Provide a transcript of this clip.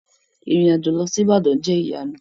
Irin-ajo lọ si Ibadan, o jẹ iyanu.